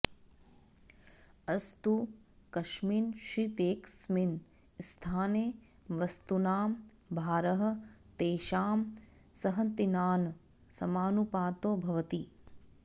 अस्तु कस्मिंश्चिदेकस्मिन् स्थाने वस्तुनां भारः तेषां संहतिनां समानुपातो भवति